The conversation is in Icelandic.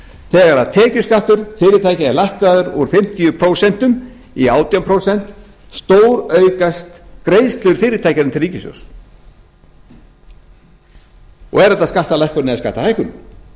þegar tekjuskattur fyrirtækja er lækkaður úr fimmtíu prósent í átján prósent stóraukast greiðslur fyrirtækjanna til ríkissjóðs er þetta skattalækkun eða skattahækkun